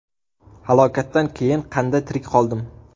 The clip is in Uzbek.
Halokatdan keyin qanday tirik qoldim?